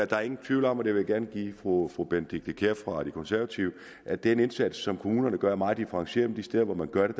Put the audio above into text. der er ingen tvivl om og det vil jeg gerne give fru fru benedikte kiær fra de konservative at den indsats som kommunerne gør er meget differentieret og de steder hvor man gør det